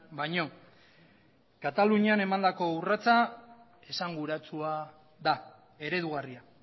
baino katalunian emandako urratsa esanguratsua da eredugarria